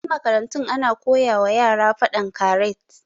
A wasu makarantun ana koyawa yara faɗan karat